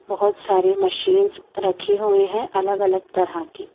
बहोत सारी मशीन्स रखी हुई है अलग अलग तरह की--